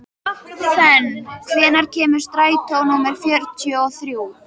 Fönn, hvenær kemur strætó númer fjörutíu og þrjú?